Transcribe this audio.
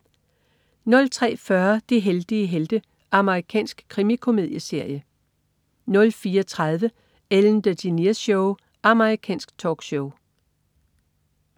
03.40 De heldige helte. Amerikansk krimikomedieserie 04.30 Ellen DeGeneres Show. Amerikansk talkshow